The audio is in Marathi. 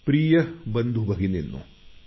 प्रिय बंधूभगिनींनो